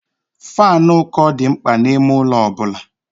Faanụ ụkọ dị mkpa n'ime ụlọ ọ bụla.